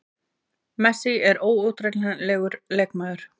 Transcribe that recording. Messi er óútreiknanlegur leikmaður.